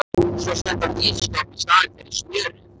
Setti hann inn í ísskáp í staðinn fyrir smjörið.